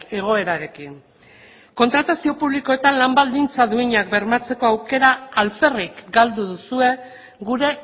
egoerarekin kontratazio publikoetan lan baldintza duinak bermatzeko aukera alferrik galdu duzue gure